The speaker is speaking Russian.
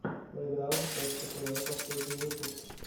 плейграунд точка тв последний выпуск